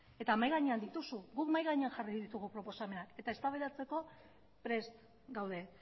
eta mahai gainean dituzu guk mahai gainean jarri ditugu proposamenak eta eztabaidatzeko prest gaude